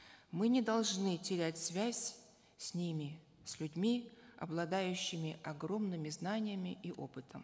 мы не должны терять связь с ними с людьми обладающими огромными знаниями и опытом